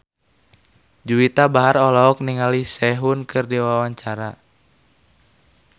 Juwita Bahar olohok ningali Sehun keur diwawancara